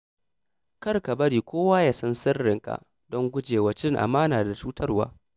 Kar ka bari kowa ya san sirrinka don gujewa cin amana da cutarwa.